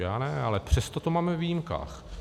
Já ne, ale přesto to máme ve výjimkách.